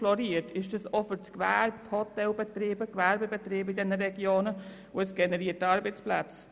In diesen Regionen stehen auch Gewerbe und Hotelbetriebe hinter dem Tourismus und auch dort geht es um Arbeitsplätze.